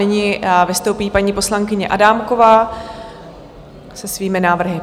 Nyní vystoupí paní poslankyně Adámková se svými návrhy.